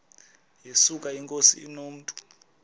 yesuka inkosi inomntu